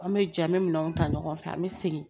An bɛ jɛ an bɛ minɛnw ta ɲɔgɔn fɛ an bɛ segin